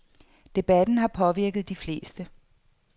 Debatten har påvirket de fleste.